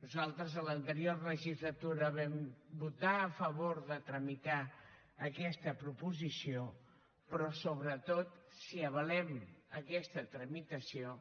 nosaltres a l’anterior legislatura vam votar a favor de tramitar aquesta proposició però sobretot si avalem aquesta tramitació